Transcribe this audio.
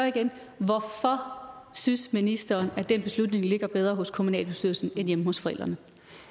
igen hvorfor synes ministeren at den beslutning ligger bedre hos kommunalbestyrelsen end hjemme hos forældrene